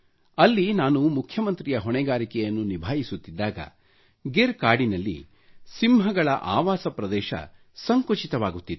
ಅಲ್ಲಿ ನಾನು ಮುಖ್ಯಮಂತ್ರಿ ಹೊಣೆಗಾರಿಕೆಯನ್ನು ನಿಭಾಯಿಸುತ್ತಿದ್ದಾಗ ಗೀರ್ ಕಾಡಿನಲ್ಲಿ ಸಿಂಹಗಳ ಹಬಿತಾತ್ ಸಂಕುಚಿತವಾಗುತ್ತಿತ್ತು